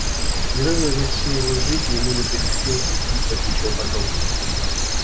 ни разу за всю его жизнь ему не приходилось испытывать ничего подобного